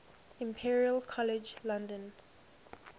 imperial college london